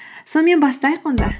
сонымен бастайық онда